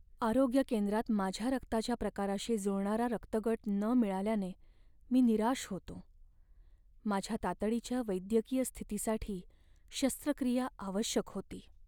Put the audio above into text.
आरोग्य केंद्रात माझ्या रक्ताच्या प्रकाराशी जुळणारा रक्तगट न मिळाल्याने मी निराश होतो. माझ्या तातडीच्या वैद्यकीय स्थितीसाठी शस्त्रक्रिया आवश्यक होती.